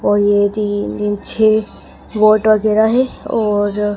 और ये तीन-तीन छे बोट वगैरा है।